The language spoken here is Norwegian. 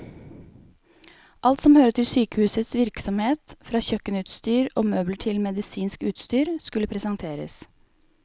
Alt som hører til sykehusets virksomhet, fra kjøkkenutstyr og møbler til medisinsk utstyr, skulle presenteres.